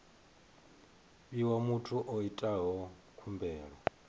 fhiwa muthu o itaho khumbelo